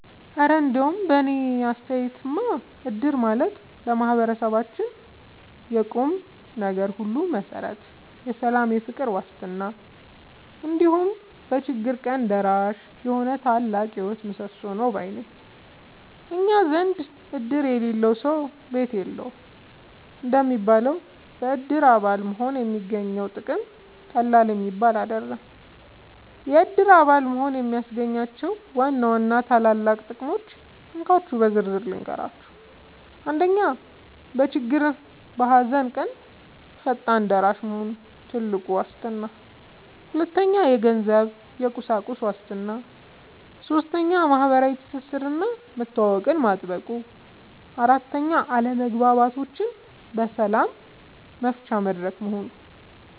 እረ እንደው በእኔ አስተያየትማ እድር ማለት ለማህበረሰባችን የቁምነገር ሁሉ መሠረት፣ የሰላምና የፍቅር ዋስትና፣ እንዲሁም በችግር ቀን ደራሽ የሆነ ታላቅ የህይወት ምሰሶ ነው ባይ ነኝ! እኛ ዘንድ "እድር የሌለው ሰው ቤት የለውም" እንደሚባለው፣ በእድር አባል መሆን የሚገኘው ጥቅም ቀላል የሚባል አይደለም። የእድር አባል መሆን የሚያስገኛቸውን ዋና ዋና ታላላቅ ጥቅሞች እንካችሁ በዝርዝር ልንገራችሁ፦ 1. በችግርና በሃዘን ቀን ፈጣን ደራሽ መሆኑ (ትልቁ ዋስትና) 2. የገንዘብና የቁሳቁስ ዋስትና 3. ማህበራዊ ትስስርና መተዋወቅን ማጥበቁ 4. አለመግባባቶችን በሰላም መፍቻ መድረክ መሆኑ